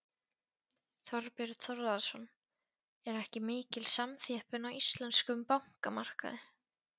Þorbjörn Þórðarson: Er ekki mikil samþjöppun á íslenskum bankamarkaði?